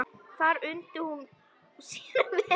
Þar undi hún sér vel.